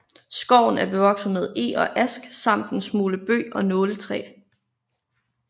Skoven er bevokset med eg og ask samt en smule bøg og nåletræ